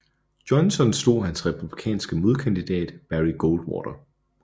Johnson slog hans republikanske modkandidat Barry Goldwater